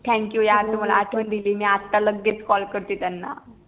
THANK YOU यार तू मला आठवण दिली मी आता लगेच CALL करते त्यांना